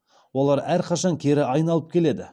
олар әрқашан кері айналып келеді